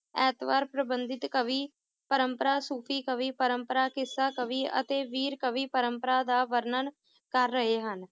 ਐਤਵਾਰ ਪ੍ਰਬੰਧਿਤ ਕਵੀ ਪ੍ਰੰਪਰਾ ਸੂਫੀ ਕਵੀ ਪ੍ਰੰਪਰਾ ਕਿੱਸਾ ਕਵੀ ਅਤੇ ਵੀਰ ਕਵੀ ਪਰੰਪਰਾ ਦਾ ਵਰਨਣ ਕਰ ਰਹੇ ਹਨ